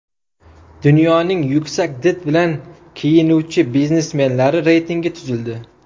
Dunyoning yuksak did bilan kiyinuvchi biznesmenlari reytingi tuzildi .